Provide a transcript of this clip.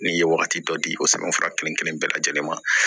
N'i ye wagati dɔ di o sɛbɛnfura kelen kelen bɛɛ lajɛlen ma